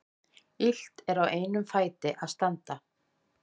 Illt er á einum fæti að standa.